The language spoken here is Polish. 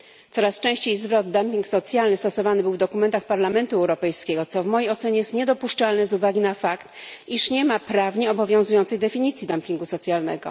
Coraz częściej zwrot dumping socjalny stosowany był w dokumentach Parlamentu Europejskiego, co w mojej ocenie jest niedopuszczalne z uwagi na fakt, iż nie ma prawnie obowiązującej definicji dumpingu socjalnego.